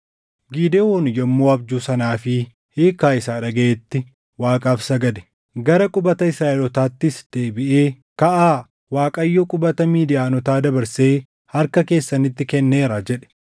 Gidewoon yommuu abjuu sanaa fi hiikkaa isaa dhagaʼetti Waaqaaf sagade. Gara qubata Israaʼelootaattis deebiʼee, “Kaʼaa! Waaqayyo qubata Midiyaanotaa dabarsee harka keessanitti kenneeraa” jedhe.